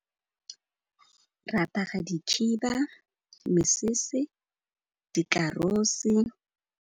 Re apara dikhiba, mesese, dikarose.